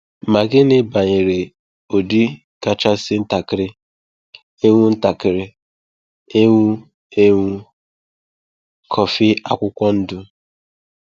Ma gịnị banyere ụdị kachasị ntakịrị ewu ntakịrị ewu ewu, kọfị akwụkwọ ndụ?